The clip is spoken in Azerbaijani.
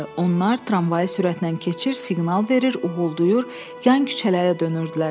Onlar tramvayı sürətlə keçir, siqnal verir, uğuldayır, yan küçələrə dönürdülər.